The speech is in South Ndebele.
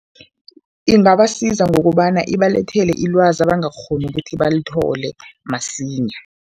Ingabasiza ngokobana ibalethele ilwazi abangakghoni ukuthi balithole masinya.